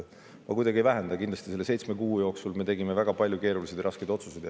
Ma kuidagi ei vähenda, kindlasti tegime me koos nende seitsme kuu jooksul väga palju keerulisi ja raskeid otsuseid.